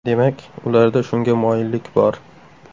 Demak, ularda shunga moyillik bor.